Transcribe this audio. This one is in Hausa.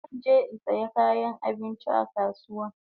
Zan je in saya kayan abinchi a kasuwa